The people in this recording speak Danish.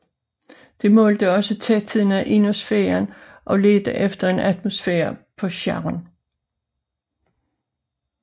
Det målte også tætheden af ionosfæren og ledte efter en atmosfære på Charon